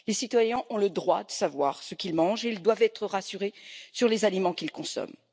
Les citoyens ont le droit de savoir ce qu'ils mangent et ils doivent être rassurés sur les aliments qu'ils consomment.